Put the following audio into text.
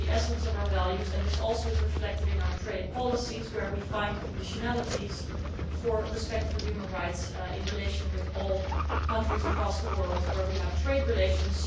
This is the essence of our values and is also reflected in our trade policies, where we find conditionalities for respect for human rights in relation to all countries across the world with which we have trade relations.